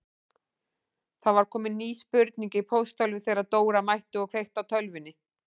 Það var komin ný spurning í pósthólfið þegar Dóra mætti og kveikti á tölvunni.